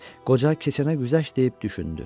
Qoca keçənə güzəşt deyib düşündü.